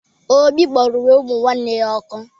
Obi gbara uwe umunne ya ọkụ